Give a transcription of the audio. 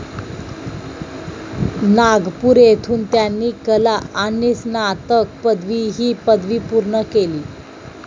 नागपूर येथून त्यांनी कला आणि स्नातक पदवी ही पदवी पूर्ण केली.